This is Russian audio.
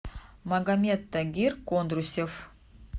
магомед тагир кондрусев